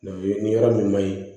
Mɛ ni yɔrɔ min ma ɲi